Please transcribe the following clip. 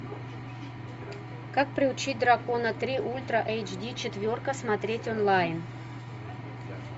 как приручить дракона три ультра эйч ди четверка смотреть онлайн